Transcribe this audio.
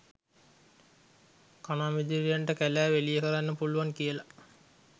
කණාමැදිරියන්ට කැලෑව එළිය කරන්න පුළුවන් කියලා.